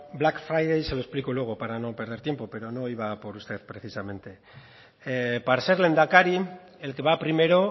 black friday se lo explico luego para no perder tiempo pero no iba por usted precisamente para ser lehendakari el que va primero